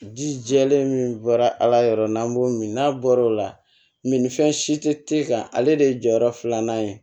Ji jɛlen min bɔra ala yɔrɔ n'an b'o min n'a bɔra o la min ni fɛn si tɛ e kan ale de ye jɔyɔrɔ filanan ye